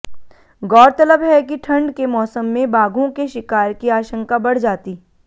गौरतलब है कि ठंड के मौसम में बाघों के शिकार की आशंका बढ़ जाती